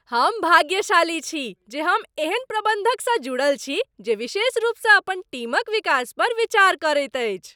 हम भाग्यशाली छी जे हम एहन प्रबंधकसँ जुड़ल छी जे विशेष रूपसँ अपन टीमक विकास पर विचार करैत अछि।